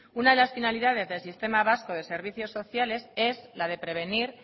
una de las finalidades del sistema vasco de servicios sociales es la de prevenir